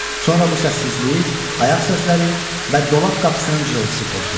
Sonra bu səssizliyi ayaq səsləri və dolab qapısının cırıltısı pozdu.